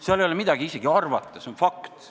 Siin ei ole midagi isegi arvata, see on fakt.